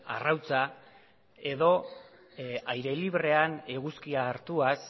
arrautza edo aire librean eguzkia hartuaz